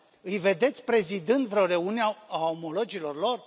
Îi vedeți prezidând vreo reuniune a omologilor lor?